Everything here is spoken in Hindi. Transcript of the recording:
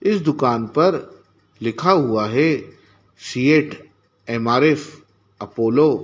इस दुकान पर लिखा हुआ है सीएट एम_आर_एफ अपोलो ।